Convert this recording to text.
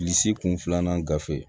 Bilisi kun filanan ga gafe